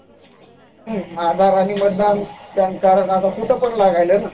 आधार आणि मतदान, pan card कुठं पण लागायले ना